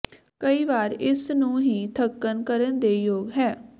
ਕਈ ਵਾਰ ਇਸ ਨੂੰ ਹੀ ਧੱਕਣ ਕਰਨ ਦੇ ਯੋਗ ਹੈ